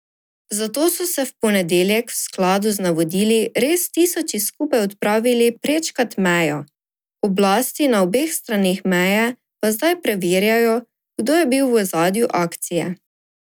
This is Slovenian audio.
Zato so se v ponedeljek v skladu z navodili res tisoči skupaj odpravili prečkat mejo, oblasti na obeh straneh meje pa zdaj preverjajo, kdo je bil v ozadju akcije.